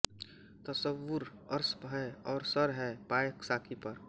तसव्वुर अर्श पर है और सर है पाए साक़ी पर